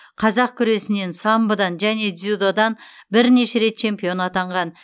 қазақ күресінен самбодан және дзюдодан бірнеше рет чемпион атанған